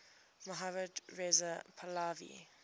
mohammad reza pahlavi